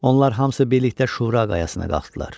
Onlar hamısı birlikdə Şura qayasına qalxdılar.